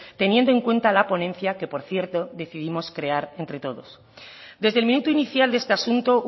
teniendo en cuenta la ponencia que por cierto decidimos crear entre todos desde el minuto inicial de este asunto